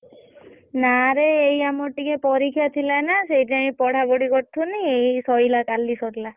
ନାରେ ଏଇ ଆମର ଟିକେ ପରୀକ୍ଷା ଥିଲା ନା ସେଇଥି ପାଇଁ ଟିକେ ପଢା ପଢି କରୁଥିଲୁ ଏଇ ସରିଲା କାଲି ସରିଲା।